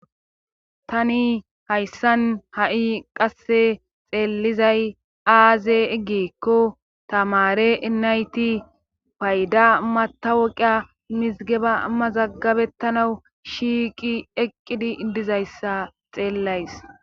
Tani hayssan ha7i qasse xeellizay aaze giikko tamare nayti payda matawuqiya mizgaba mazagabettanawu shiiqi eqqidi dizayssa xeellays.